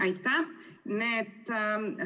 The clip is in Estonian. Aitäh!